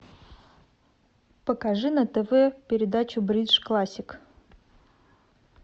покажи на тв передачу бридж классик